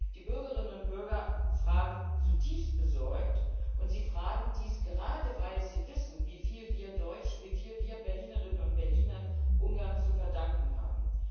Die Bürgerinnen und Bürger fragen zutiefst besorgt, und sie fragen dies gerade, weil sie wissen, wie viel wir Deutsche, wie viel wir Berlinerinnen und Berliner Ungarn zu verdanken haben.